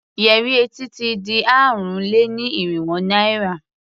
Yẹrí etí ti di ààrùn-lé-ní-irínwó naira.